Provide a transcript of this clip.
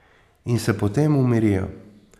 In se potem umirijo.